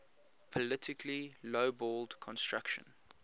politically lowballed construction